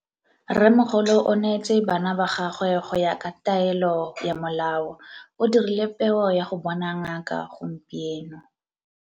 Rrêmmogolo o neetse bana ba gagwe go ya ka taêlô ya molaô. O dirile peô ya go bona ngaka gompieno.